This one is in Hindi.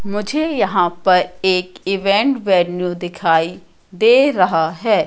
मुझे यहां पर एक इवेंट वैन्यू दिखाई दे रहा है।